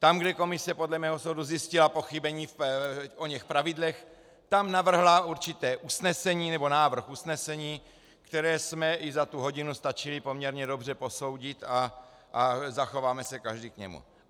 Tam, kde komise podle mého soudu zjistila pochybení v oněch pravidlech, tam navrhla určité usnesení, nebo návrh usnesení, které jsme i za tu hodinu stačili poměrně dobře posoudit a zachováme se každý k němu.